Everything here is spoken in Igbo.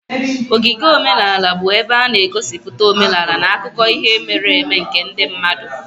Ogige omenala bụ ebe a na-egosipụta omenala na akụkọ ihe mere eme nke ndị mmadụ.